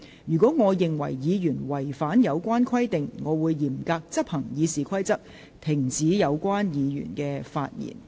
若我認為議員違反有關規定，我會嚴格執行《議事規則》，停止有關議員發言。